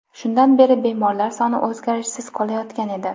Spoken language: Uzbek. Shundan beri bemorlar soni o‘zgarishsiz qolayotgan edi.